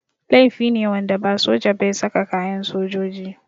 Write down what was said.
Laifi ne wanda ba soja ba ya saka kayan sojoji.